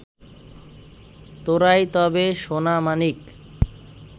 তোরাই তবে সোনামানিক